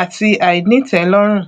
àti àìnítẹlọrùn